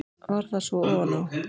Varð það svo ofan á.